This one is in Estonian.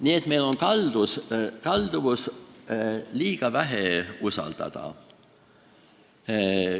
Nii et meil on kalduvus liiga vähe usaldada.